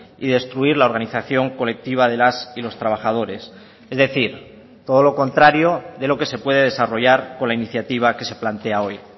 y destruir la organización colectiva de las y los trabajadores es decir todo lo contrario de lo que se puede desarrollar con la iniciativa que se plantea hoy